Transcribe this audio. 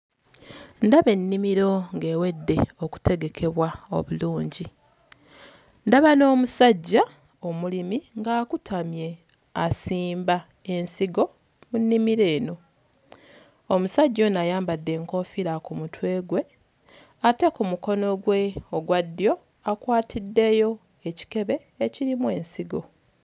Ndaba ennimiro ng'ewedde okutegekebwa obulungi. Ndaba n'omusajja omulimi ng'akutamye asimba ensigo mu nnimiro eno. Omusajja ono ayambadde enkofiira ku mutwe gwe ate ku mukono gwe ogwa ddyo akwatiddeyo ekikebe ekirimu ensigo.